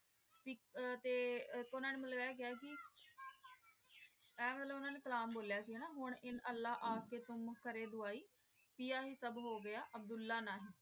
ਤੇ ਏਇਕ ਓਨਾਂ ਨੇ ਮਤਲਬ ਆਯ ਕਹਯ ਸੀ ਆਯ ਵਾਲਾ ਓਨਾਂ ਨੇ ਕਲਾਮ ਬੋਲ੍ਯਾ ਸੀ ਨਾ ਉਨ ਇਨ ਅਲ੍ਲਾਹ ਆ ਕੇ ਕੋੰ ਕਰੇ ਦਵਾਈ ਪਿਯਾ ਹੀ ਸਬ ਹੋ ਗਯਾ ਅਬ੍ਦੁਲ੍ਲਾਹ ਨਹੀ